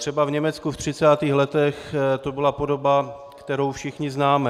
Třeba v Německu ve 30. letech to byla podoba, kterou všichni známe.